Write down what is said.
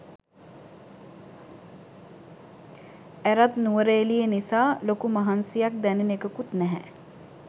ඇරත් නුවරඑලියේ නිසා ලොකු මහන්සියක් දැනෙන එකකුත් නැහැ